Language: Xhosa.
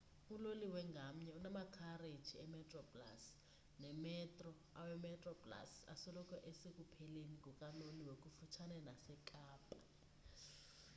uloliwe ngamnye unamakhareji emetroplus nemetro awemetroplus asoloko esekupheleni kukaloliwe kufutshane nasekapa